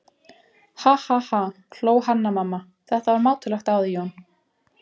Ha ha ha, hló Hanna-Mamma, þetta var mátulegt á þig Jón.